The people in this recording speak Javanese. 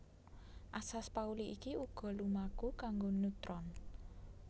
Asas Pauli iki uga lumaku kanggo neutron